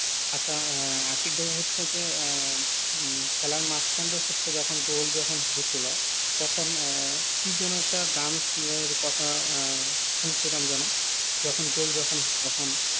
আসচ্ছা আহ আশিক ভাই হচ্ছে যে আহ উম খেলার মাঝখান টা হচ্ছে যখন গোল যখন হয়েছিলো তখন এ কি যেনও একটা dance এর কথা আহ শুনছিলাম যেনও যখন গোল দিলো তখন